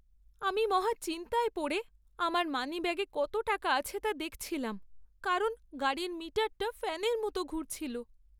আমি মহা চিন্তায় পড়ে আমার মানিব্যাগে কত টাকা আছে তা দেখছিলাম, কারণ গাড়ির মিটারটা ফ্যানের মতো ঘুরছিল।